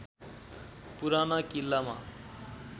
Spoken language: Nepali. पुराना किल्लामा